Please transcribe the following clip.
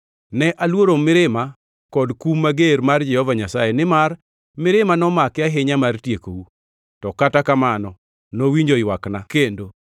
Ne aluoro mirima kod kum mager mar Jehova Nyasaye, nimar mirima nomake ahinya mar tiekou. To kata kamano nowinjo ywakna kendo.